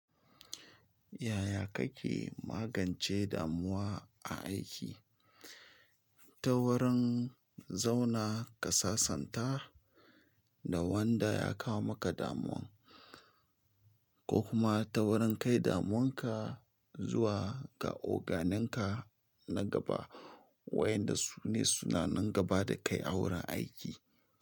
Yaya kake magance damuwa a aiki? Ta wurin zauna kasasanta da wanda ya kawo maka damuwan, ko kuma ta wurin kai damuwanka zuwa ga oganenka na gaba, wa yan da su ne suna nan gaba da kai a wurin aiki.